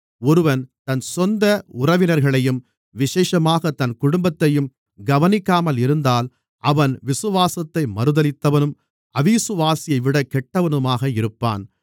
ஒருவன் தன் சொந்த உறவினர்களையும் விசேஷமாகத் தன் குடும்பத்தையும் கவனிக்காமல் இருந்தால் அவன் விசுவாசத்தை மறுதலித்தவனும் அவிசுவாசியைவிட கெட்டவனுமாக இருப்பான்